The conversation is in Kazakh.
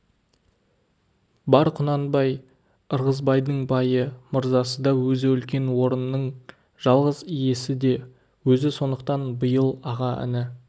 бар құнанбай ырғызбайдың байы мырзасы да өзі үлкен орынның жалғыз иесі де өзі сондықтан биыл аға-іні